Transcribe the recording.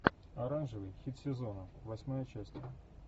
оранжевый хит сезона восьмая часть